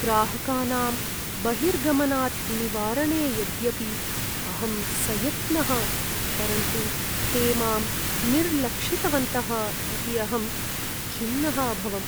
ग्राहकानां बहिर्गमनात् निवारणे यद्यपि अहं सयत्नः परन्तु ते मां निर्लक्षितवन्तः इति अहं खिन्नः अभवम्।